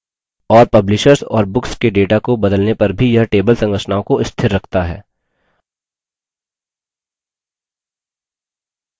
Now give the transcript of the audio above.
और publishers और books के data को बदलने पर भी यह table संरचनाओं को स्थिर रखता है